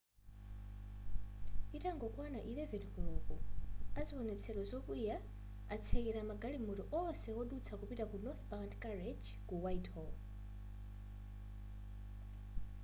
itangokwana 11 koloko aziwonetsero zokwiya atsekela magalimoto onse wodutsa kupita ku northbound carriage ku whitehall